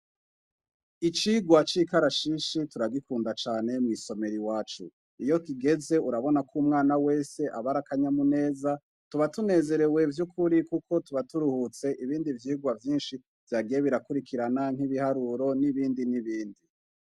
Icigwa c'ikarashishi turahagikunda cane mw'isomero iwacu. Iyo kigeze urabona k'umwana wese abar'akanyamuneza. Tuba tunezerewe vyukuri kuko tuba turuhutse ibindi vyigwa vyinshi vyagiye birakurikirana, n'ibiharuro n'ibindi n'ibindi.